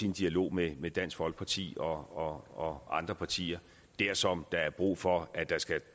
en dialog med med dansk folkeparti og og andre partier dersom der er brug for at der skal